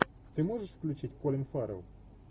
ты можешь включить колин фаррелл